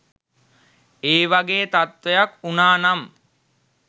ඒ වගේ තත්ත්වයක් වුණා නම්